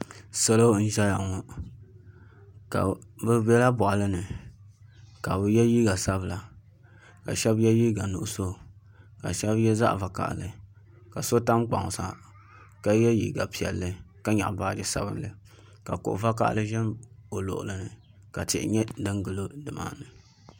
Salo n ʒɛya ŋo bi biɛla boɣali ni ka bi yɛ liiga sabila ka shab yɛ liiga nuɣso ka shab yɛ zaɣ vakaɣali ka so tam kpaŋ sa ka yɛ liiga piɛlli ka nyaɣa baaji sabinli ka kuɣu vakaɣali ʒɛ o luɣuli ni ka tihi nyɛ din gilo nimaani